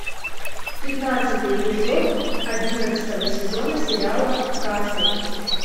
пятнадцатый эпизод одиннадцатого сезона сериала касл